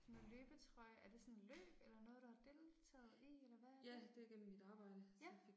Sådan noget løbetrøje, er det sådan løb eller noget du har deltaget i eller hvad er det? Ja